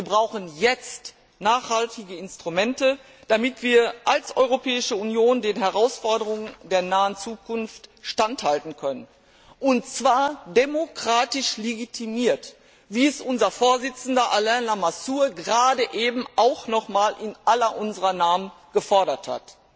Wir brauchen jetzt nachhaltige Instrumente, damit wir als Europäische Union den Herausforderungen der nahen Zukunft standhalten können, und zwar demokratisch legitimiert, wie es unser Vorsitzender, Alain Lamassoure, gerade eben auch noch einmal in unser aller Namen gefordert hat.